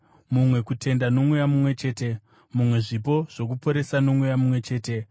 mumwe kutenda noMweya mumwe chete, mumwe zvipo zvokuporesa noMweya mumwe chete,